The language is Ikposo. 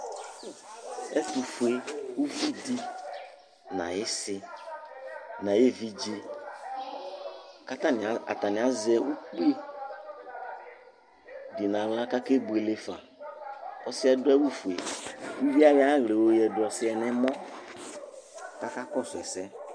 Ɛtufue uvi di la n'ayi isĩ n'ayi evidze, k'atani azɛ ukpi du n'aɣla k'aka ebuele fa, ɔsiɛ adu awù fue, ku uvie ayɔ ayi aɣla yɔ oyadu ɔsiɛ n'ɔmɔ k'aka kɔsu ɛsɛ